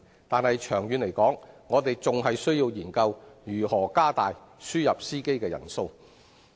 但長遠而言，我們仍須研究如何增加輸入司機的數目。